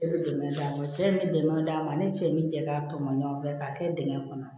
E bɛ dɛmɛ d'a ma cɛ bɛ dɛmɛ d'a ma ani cɛ ye min cɛ k'a tɔmɔ ɲɔgɔn fɛ k'a kɛ dingɛn kɔnɔ